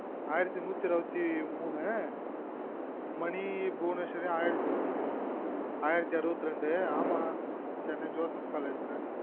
ஆயிரத்து நூத்தி அறுபத்தி மூனு மணி புவனேஸ்வரியும் ஆயிரத்தி அறுபத்தி ரெண்டு ஆமா சென்னை joseph college ல